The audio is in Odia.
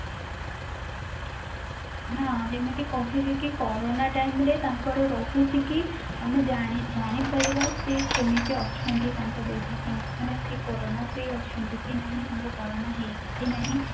ନା ଯେମିତି କହିଲି କି କୋରୋନା time ରେ ତାଙ୍କର ରହୁଛି କି ଆମେ ଜାଣି ଜାଣି ପାରିବା ସିଏ କେମିତି ଅଛନ୍ତି ତାଙ୍କ ଦେହ କେମିତି ମାନେ ସେ କୋରୋନା free ଅଛନ୍ତି କି ନାହିଁ ତାଙ୍କୁ କୋରୋନା ହେଇଛି କି ନାହିଁ